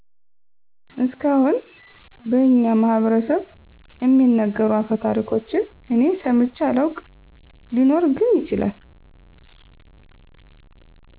እስካሁን በኛ ማህበረስብ እሚነገሩ አፈታሪኮችን እኔ ሰምቼ አላውቅ ሊኖር ግን ይችላል